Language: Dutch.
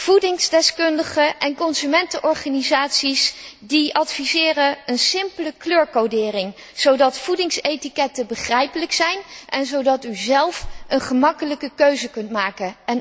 Voedingsdeskundigen en consumentenorganisaties adviseren een simpele kleurcodering, zodat voedingsetiketten begrijpelijk zijn en zodat u zelf een makkelijke keuze kunt maken.